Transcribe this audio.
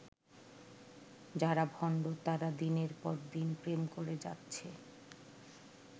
যারা ভণ্ড তারা দিনের পর দিন প্রেম করে যাচ্ছে।